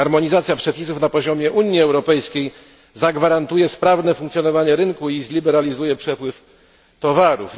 Harmonizacja przepisów na poziomie Unii Europejskiej zagwarantuje sprawne funkcjonowanie rynku i zliberalizuje przepływ towarów.